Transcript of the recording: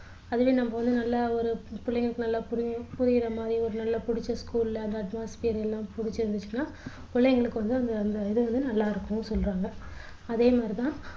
அதுலேயும் நம்ம வந்து நல்ல ஒரு பிள்ளைங்களுக்கு நல்ல புரியறமாரி நல்ல புடிச்ச school ல அந்த admosphere எல்லாம் புடிச்சு இருந்துச்சுன்னா புள்ளைங்களுக்கு வந்து அந்த இது வந்து நல்லா இருக்கும்னு சொல்றாங்க அதேமாதிரி தான்